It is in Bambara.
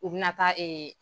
U bina taa